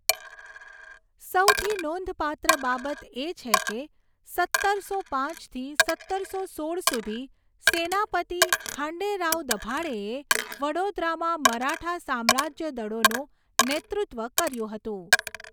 સૌથી નોંધપાત્ર બાબત એ છે કે, સત્તરસો પાંચથી સત્તરસો સોળ સુધી સેનાપતિ ખાંડેરાવ દભાડેએ વડોદરામાં મરાઠા સામ્રાજ્ય દળોનું નેતૃત્વ કર્યું હતું.